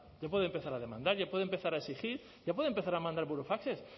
ya puede empezar a demandar ya puede empezar a exigir ya puede empezar a mandar burofaxes